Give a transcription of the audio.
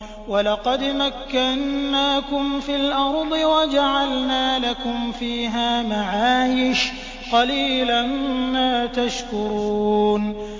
وَلَقَدْ مَكَّنَّاكُمْ فِي الْأَرْضِ وَجَعَلْنَا لَكُمْ فِيهَا مَعَايِشَ ۗ قَلِيلًا مَّا تَشْكُرُونَ